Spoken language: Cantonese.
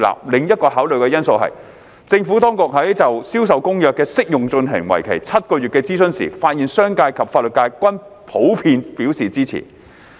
另一個考慮因素是，政府當局在就《銷售公約》的適用進行為期7個月的諮詢時，發現商界及法律界均普遍表示支持。